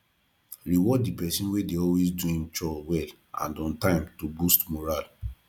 reward di person wey dey always do im own chore well and on time to boost morale